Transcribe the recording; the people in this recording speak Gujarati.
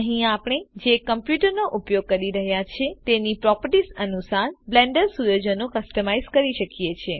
અહીં આપણે જે કમ્પ્યૂટરનો ઉપયોગ કરી રહ્યા છે તેની પ્રોપર્ટીસ અનુસાર બ્લેન્ડર સુયોજનો કસ્ટમાઇઝ કરી શકીએ છે